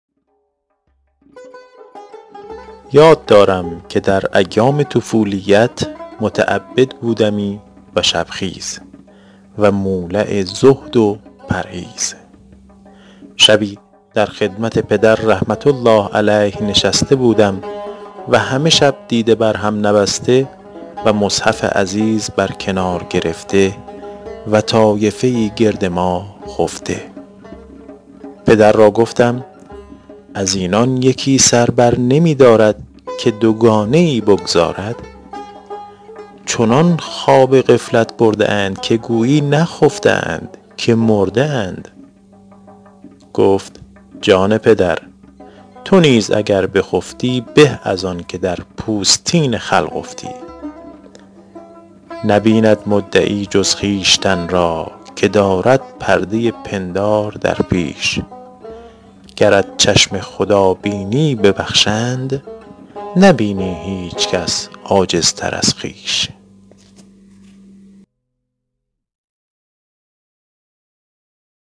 یاد دارم که در ایام طفولیت متعبد بودمی و شب خیز و مولع زهد و پرهیز شبی در خدمت پدر رحمة الله علیه نشسته بودم و همه شب دیده بر هم نبسته و مصحف عزیز بر کنار گرفته و طایفه ای گرد ما خفته پدر را گفتم از اینان یکی سر بر نمی دارد که دوگانه ای بگزارد چنان خواب غفلت برده اند که گویی نخفته اند که مرده اند گفت جان پدر تو نیز اگر بخفتی به از آن که در پوستین خلق افتی نبیند مدعی جز خویشتن را که دارد پرده پندار در پیش گرت چشم خدا بینی ببخشند نبینی هیچ کس عاجزتر از خویش